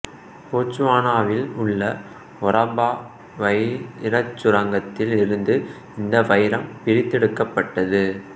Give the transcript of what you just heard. போட்சுவானாவில் உள்ள ஒராபா வைரச் சுரங்கத்தில் இருந்து இந்த வைரம் பிரித்தெடுக்கப்பட்டது